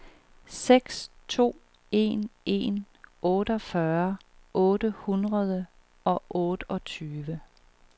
seks to en en otteogfyrre otte hundrede og otteogtyve